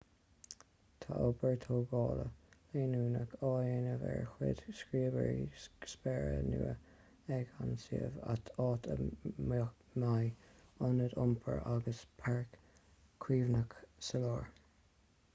tá obair tógála leanúnach á déanamh ar chúig scríobaire spéire nua ag an suíomh áit a mbeidh ionad iompair agus páirc chuimhneacháin sa lár